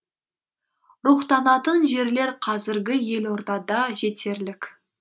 рухтанатын жерлер қазіргі елордада жетерлік